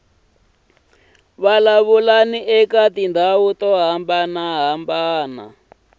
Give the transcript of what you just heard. vulavuleni eka tindhawu to hambanahambana